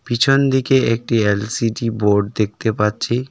পিছন দিকে একটি এল_সি_ডি বোর্ড দেখতে পাচ্ছি।